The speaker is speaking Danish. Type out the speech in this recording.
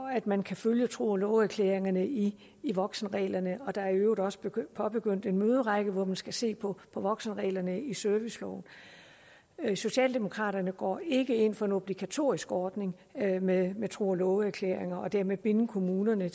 at man kan følge tro og love erklæringerne i i voksenreglerne og der er i øvrigt også påbegyndt en møderække hvor man skal se på voksenreglerne i serviceloven socialdemokraterne går ikke ind for en obligatorisk ordning med med tro og love erklæringer og dermed at binde kommunerne